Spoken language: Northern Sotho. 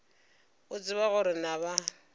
o tseba gore na ba